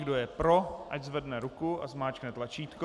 Kdo je pro, ať zvedne ruku a zmáčkne tlačítko.